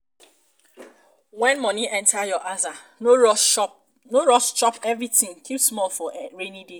when money enter your aza no rush chop everything keep small for rainy days